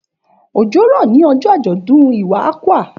Òjò rọ̀ ní ọjọ́ àjọ̀dún Iwa Akwa.